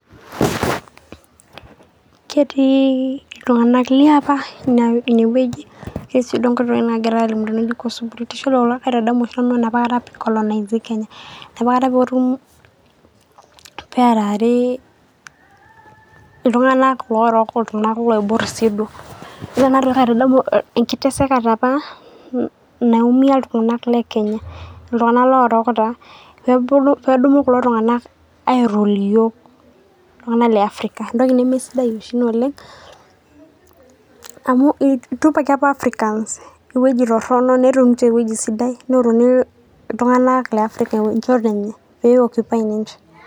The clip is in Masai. Ketii iltunganak liapa ine wueji ketii si duo kutitik tokitin nagirae. Kaitadamu Nanu enapa kata e colonization .inapa kata peoru ,pearari iltunganak lorook iltunganak loibor siduoo . Ore ena toki kaitadamu enkiteseka apa naumia iltunganak le Kenya . iltunganak lorook taa ,pedumu kulo tunganak airule iyiook iltunganak le Africa. Entoki nemisidai oshi Ina oleng amu itupaki apa Africans ewueji torono netum ninche ewueji sidai neoruni iltunganak le Africa enchoto enye peo occupy ninche.